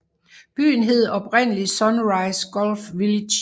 Byen hed oprindeligt Sunrise Gulf Village